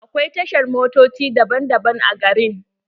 Akwai tashar motoci daban-daban a gari.